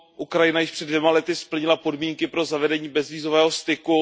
Ukrajina již před dvěma lety splnila podmínky pro zavedení bezvízového styku.